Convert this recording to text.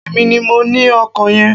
Èmi ní mo ní ọkọ yen